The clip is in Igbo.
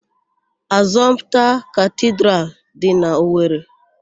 Asọmpta Katidralụ dị n'Owere.